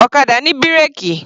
Ọ̀kadà ní bírèkì.